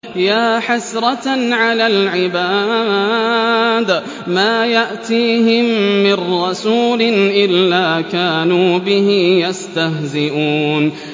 يَا حَسْرَةً عَلَى الْعِبَادِ ۚ مَا يَأْتِيهِم مِّن رَّسُولٍ إِلَّا كَانُوا بِهِ يَسْتَهْزِئُونَ